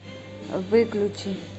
выключи